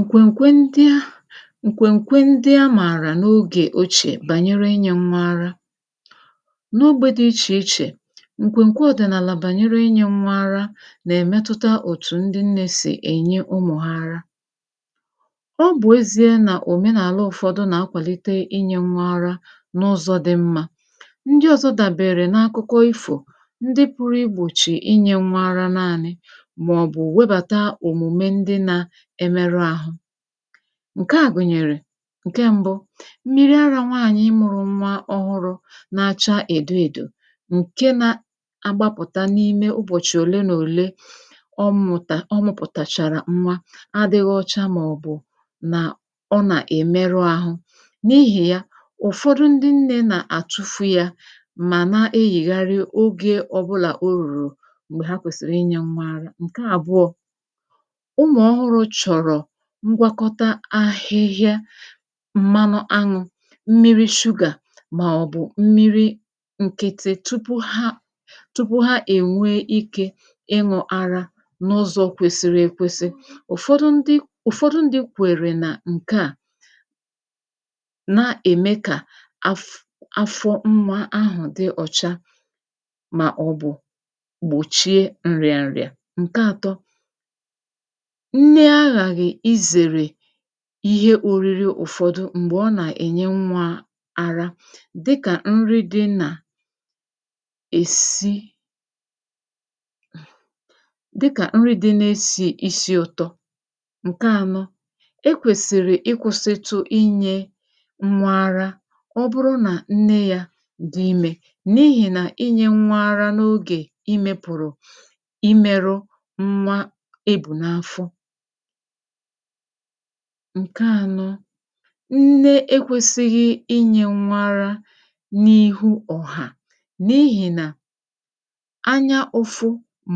ǹkwènke ndịa ǹkwènke ndị amàrà n’ogè ochiè bànyere inyē nwa ara n’ogbē di ichè ichè ǹkwènkwe ọ̀dị̀naàlà bànyere inye nwa araǹkwènkwe ọ̀dị̀naàlà bànyere inye nwa ar nà-èmetuta òtù ndị nne sì ènye umu ha ara ọ bụ̀ ezie nà òmenaàlà ụ̀fọdụ nà-akwàlite inye nwa ara n’ụzọ̄ di mma ndị ọ̀zọ dàbèrè n’akụkọ ịfọ̀ ndị puru igbòchi inyē nwa ara nanị màọbụ̀ webàtà òmùme ndị na imeru àhụ ǹke a gùnyèrè ǹke m̀bu mmịrị̄ arā nwaanyị̀ mụrụ nwa ọhụrụ na-acha èdo èdò bụ̀ ǹke na agbapụta n’ime ụbọ̀chị òle na òle kwa mmụ̀ta ọ mụpụtàchàrà nwa adịghị ọcha màọbụ̀ nà ọ nà-èmeru ahụ n’ihì ya ụ̀fọdụ ndị nne nà àtụfụ ya mà na-eghègharị ogē ọbụlà o rùrù m̀gbè ha kwèsìrì inye nwa ara ǹke àbụọ ụlọ̀ ọhụrụ chọ̀rọ̀ ngwakọta ahịhịa m̀manụ aṅụ̄ mmịrị̄ sugar màọbụ̀ mmịrị̄ nkịtị tupu ha tupu ha è nwee ikē ịṅụ̄ ara n’ụzọ kwèsiri èkwesi ụ̀fọdụ ndị ụ̀fọdụ ndị̄ kwère nà ǹke a na ème kà afụ afọ nwa ahụ̀ di ọ̀cha màọbụ̀ gbòchie ǹrịarịà ǹke àtọ nne aghàghị izèrè ihe òriri ụ̀fọdụ m̀gbè ọ nà-ènye nwa ara dịkà nri di nà èsi dịkà nri di na-esì isi ụ̀tọ ǹke ànọ e kwèsìrì ịkwụ̄sịtụ inyē nwa ara ọ bụrụ nà nne yā di imē n’ihì nà inyē nwa ara n’ogè imē pụ̀rụ̀ imēru nwa ebù n’afọ ǹke ànọ nne e kwēsighi inyē nwa ara n’ihu ọ̀hà̀ n’ihì nà anyā ụ̀fụ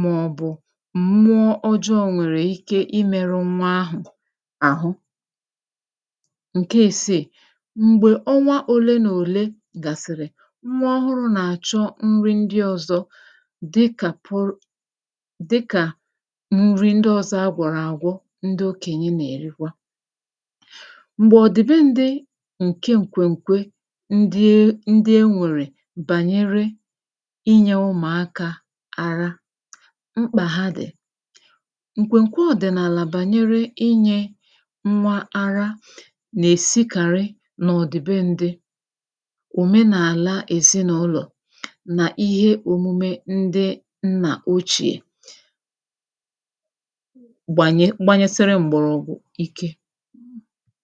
màọbụ̀ mmụọ ọjọọ nwèrè ike imēru nwa ahụ̀ àhụ ǹke ìsii m̀gbè ọnwa òle nà òle gàsị̀rị̀ nwa ọhụrụ nà-àchọ nri ndị ọzọ̄ dịkà puru dịkà nri ndị ọ̀zọ agwọ̀rọ̀ àgwọ ndị okènye nà-èrikwa m̀gbè ọ dị be ndị̄ ǹke ǹkwèkwe ndị e nwèrè bànyèrè inyē umùaka ara mkpà ha dì ǹkwèkwe ọ̀dị̀naàlà bànyere inyē nwa ara nà-èsikàrị̀ nà ọ di be ndị òmenàla èzinaụlọ̀ nà ihe òmume ndị nnà ochie gbànye banyesiri m̀gbọ̀rọgwụ̀ ike